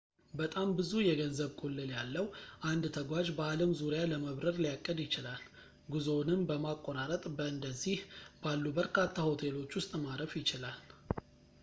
በጣም ብዙ የገንዘብ ቁልል ያለው አንድ ተጓዥ በአለም ዙሪያ ለመብረር ሊያቅድ ይችላል ጉዞውንም በማቆራረጥ በእንደዚህ ባሉ በርካታ ሆቴሎች ውስጥ ማረፍ ይችላል